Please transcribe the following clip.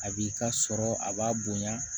A b'i ka sɔrɔ a b'a bonya